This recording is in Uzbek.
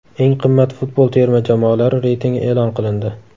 Eng qimmat futbol terma jamoalari reytingi e’lon qilindi !